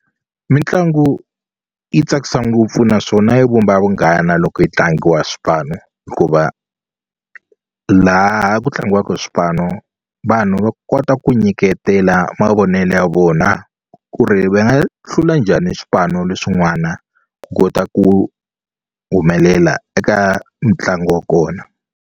Mitlangu yi tsakisa ngopfu naswona yi vumba vunghana loko yi tlangiwa hi swipanu hikuva laha ku tlangiwaka hi swipano vanhu va kota ku nyiketela mavonelo ya vona ku ri va nga hlula njhani swipano leswin'wana ku kota ku humelela eka mitlangu wa kona.